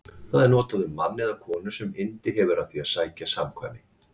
Það er notað um mann eða konu sem yndi hefur af því að sækja samkvæmi.